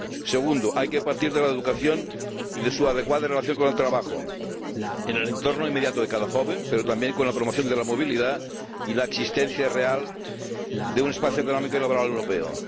Segundo hay que partir de la educación y de su adecuada relación con el trabajo en el entorno inmediato de cada joven, pero también con la promoción de la movilidad y la existencia real de un espacio económico y laboral europeo.